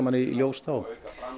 í ljós þá